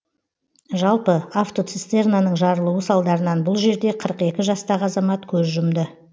жалпы атвоцистернаның жарылуы салдарынан бұл жерде қырық екі жастағы азамат көз жұмды